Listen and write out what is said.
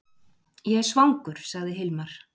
Ég er svangur, sagði Hilmar.